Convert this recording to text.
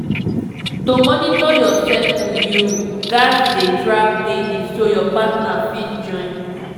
to monitor your cycle you gats dey track daily so your partner fit join